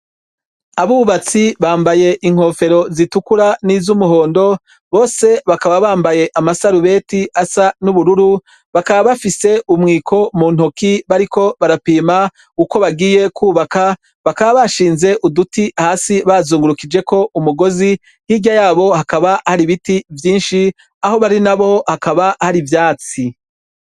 Abubatsi bambaye inkofero zitukura n'izumuhondo, bose bakaba bambaye amasarubeti asa n’ubururu, bakaba bafise umwiko mu ntoki bariko barapima uko bagiye kubaka, bakaba bashinze uduti hasi bazungurukije ko umugozi. Hirya yabo hakaba hari ibiti vyinshi, aho bari nabo hakaba hari ivyatsi.